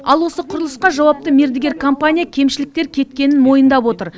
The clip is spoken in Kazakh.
ал осы құрылысқа жауапты мердігер компания кемшіліктер кеткенін мойындап отыр